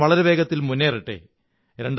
രാജ്യം വളരെവേഗത്തിൽ മുന്നേറട്ടെ